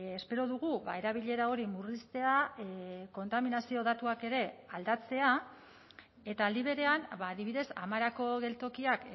espero dugu erabilera hori murriztea kontaminazio datuak ere aldatzea eta aldi berean adibidez amarako geltokiak